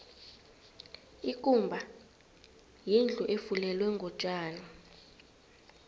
ikumba yindlu efulelwe ngotjani